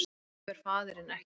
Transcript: Hann hefur faðirinn ekki